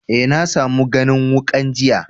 Eh, na samu ganin wukan jiya.